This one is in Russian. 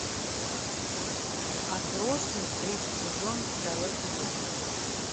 отбросы третий сезон второй эпизод